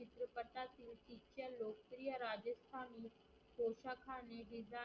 हे रिजाईन